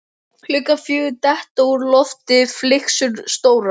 Klukkan fjögur detta úr lofti flygsur stórar.